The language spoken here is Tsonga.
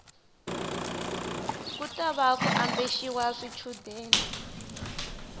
ku tava ku ambexiwa swichundeni